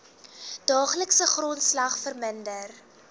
daaglikse grondslag verminder